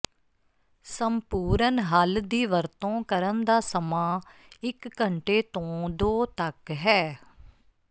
ਸੰਪੂਰਨ ਹੱਲ ਦੀ ਵਰਤੋਂ ਕਰਨ ਦਾ ਸਮਾਂ ਇੱਕ ਘੰਟੇ ਤੋਂ ਦੋ ਤੱਕ ਹੈ